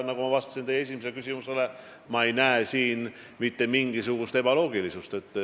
Nagu ma teie esimesele küsimusele vastates ütlesin, ma ei näe siin mitte mingisugust ebaloogilisust.